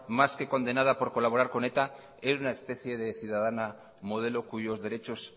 más que condenada por colaborar con eta era una especie de ciudadana modelo cuyos derechos